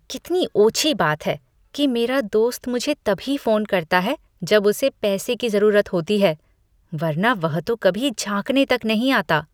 कितनी ओछी बात है कि मेरा दोस्त मुझे तभी फोन करता है जब उसे पैसे की जरूरत होती है, वरना वह तो कभी झाँकने तक नहीं आता।